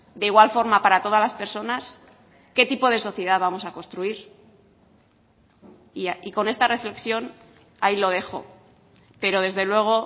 de igual forma para todas las personas qué tipo de sociedad vamos a construir y con esta reflexión ahí lo dejo pero desde luego